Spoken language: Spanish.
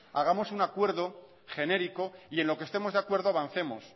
hagamos un acuerdo genérico y en lo que estemos de acuerdo avancemos